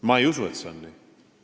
Ma ei usu, et see on nii.